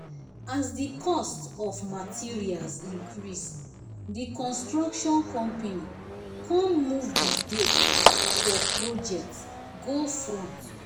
as the cost of materials increase the construction company kon move the date for project go front